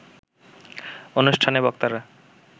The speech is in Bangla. অনুষ্ঠানে বক্তারা